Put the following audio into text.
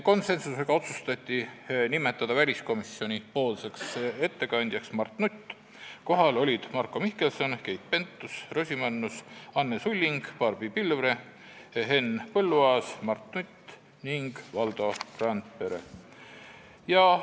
Konsensuslikult otsustati nimetada väliskomisjoni ettekandjaks Mart Nutt, kohal olid Marko Mihkelson, Keit Pentus-Rosimannus, Anne Sulling, Barbi Pilvre, Henn Põlluaas, Mart Nutt ning Valdo Randpere.